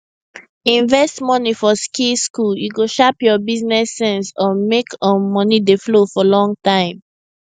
invest money for skill school e go sharp your business sense um make um money dey flow for long time